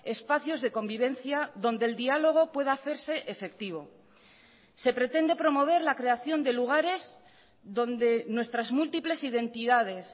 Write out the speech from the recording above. espacios de convivencia donde el diálogo pueda hacerse efectivo se pretende promover la creación de lugares donde nuestras múltiples identidades